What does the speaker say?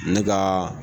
Ne ka